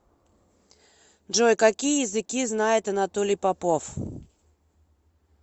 джой какие языки знает анатолий попов